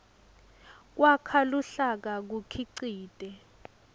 kwakha luhlaka kukhicite